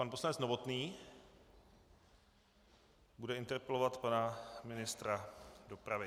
Pan poslanec Novotný bude interpelovat pana ministra dopravy.